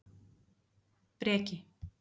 Breki